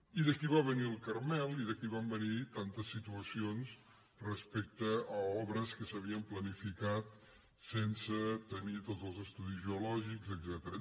i d’aquí va venir el carmel i d’aquí van venir tantes situacions respecte a obres que s’havien planificat sense tenir tots els estudis geològics etcètera